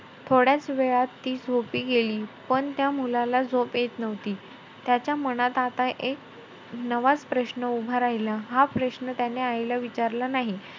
थोड्याचं वेळात ती झोपी गेली. पण त्या मुलाला झोप येत नव्हती. त्याच्या मनात एक नवाचं प्रश्न उभा राहिला, हा प्रश्न त्याने आईला विचारला नाही.